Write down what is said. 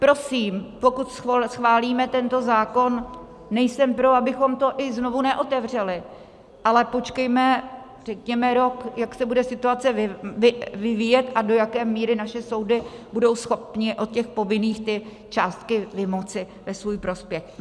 Prosím, pokud schválíme tento zákon, nejsem pro, abychom to i znovu neotevřeli, ale počkejme řekněme rok, jak se bude situace vyvíjet a do jaké míry naše soudy budou schopny od těch povinných ty částky vymoci ve svůj prospěch.